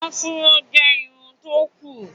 afro jẹ Irun tó kún.